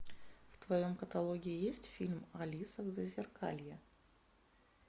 в твоем каталоге есть фильм алиса в зазеркалье